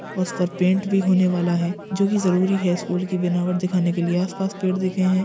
उस पर पेंट भी होने वाला है जो कि जरूरी है स्कूल की बनावट दिखाने के लिए आसपास पेड़ दिखे हैं।